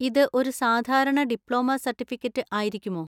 ഇത് ഒരു സാധാരണ ഡിപ്ലോമ സർട്ടിഫിക്കറ്റ് ആയിരിക്കുമോ?